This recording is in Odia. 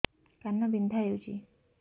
କାନ ବିନ୍ଧା ହଉଛି